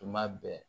Tuma bɛɛ